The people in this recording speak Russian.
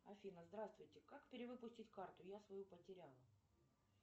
афина здравствуйте как перевыпустить карту я свою потеряла